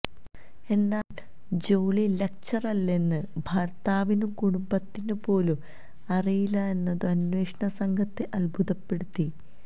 എന്നാല് ജോളി ലക്ചററല്ലെന്നത് ഭര്ത്താവിനും കുടുംബത്തിനു പോലും അറിയില്ലെന്നതു അന്വേഷണ സംഘത്തെ അത്ഭുതപ്പെടുത്തി